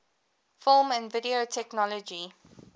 film and video technology